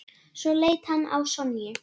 Svo leit hann á Sonju.